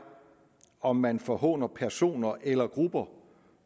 om man forhåner personer eller grupper